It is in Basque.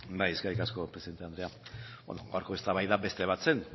eskerrik asko presidente andrea gaurko eztabaida beste bat zen